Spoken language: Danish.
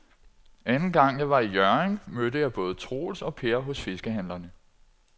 Anden gang jeg var i Hjørring, mødte jeg både Troels og Per hos fiskehandlerne.